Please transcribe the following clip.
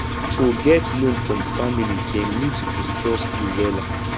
to get loan from family dem need to trust you wella